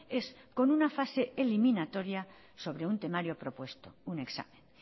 es con una fase eliminatoria sobre un temario propuesto un examen